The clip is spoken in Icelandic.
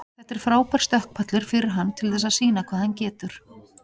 Þetta er frábær stökkpallur fyrir hann til þess sýna hvað hann getur.